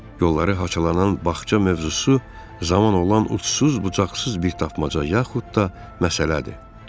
Yolları haçalanan bağça mövzusu zaman olan ucsuz-bucaqsız bir tapmaca, yaxud da məsələdir.